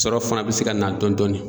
Sɔrɔ fana be se ka na dɔndɔnin